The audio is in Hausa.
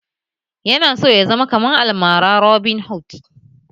Yana so ya zama kamar almara robinhood